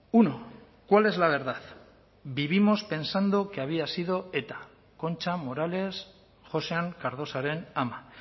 uno cuál es la verdad vivimos pensando que había sido eta concha morales joxean cardosaren ama